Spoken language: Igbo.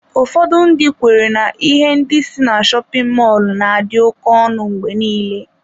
Ụfọdụ ndị kweere na ihe ndị si ná shopin mọlụ na-adị oké ọnụ mgbe nile.